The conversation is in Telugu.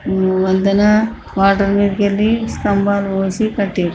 ఓ వంతెన వాటర్ మీదికి వెళ్ళి స్తంభాలు మోసి కట్టిర్రు.